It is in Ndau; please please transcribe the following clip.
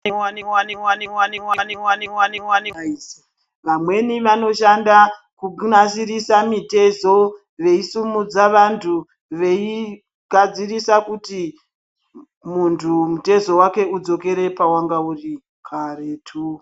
Vamweni vanoshanda kunasirisa mitezo veisumudza vantu veigadzirisa kuti muntu mutezo wake udzokere pawanga uri karetu.